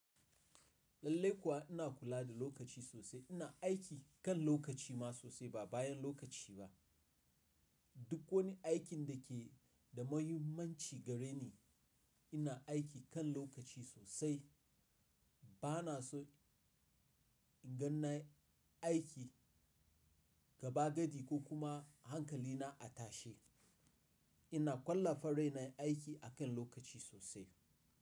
Lallai kuwa ina kula da lokaci sosai. Ina aiki kan lokaci ma sosai ba bayan lokaci ba. Duk wani aikin da ke da muhimmanci gare ni, ina aiki kan lokaci sosai. Ba na so in gan nayi aiki gaba gadi ko kuma hankali na a tashe. Ina ƙwallafa raina aiki akan lokaci sosai.